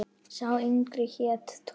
Sá yngri hét Tom.